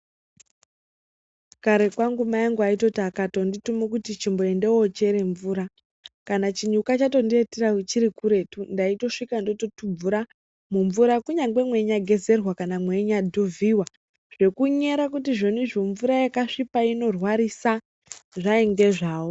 Kare kwangu mai angu aitoti akatondi tume kuti chimboende wo chere mvura kana chinyuka chato ndiitira chiri kuretu ndaito svika ndoto tubvura mu mvura kunyangwe mwe nyai gezerwa kana meinya dhuvhiwa zveku nyara kuti zvonizvo mvura yaka svipa ino rwarisa zvainge zvawo.